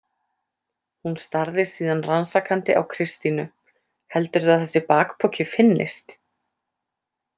Hún starði síðan rannsakandi á Kristínu: Heldurðu að þessi bakpoki finnist?